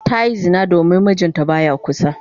Ta yi zina domin mijinta ba ya kusa.